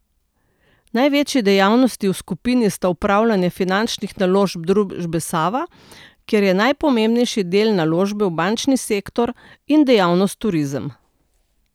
Največji dejavnosti v skupini sta upravljanje finančnih naložb družbe Sava, kjer je najpomembnejši del naložba v bančni sektor, in dejavnost Turizem.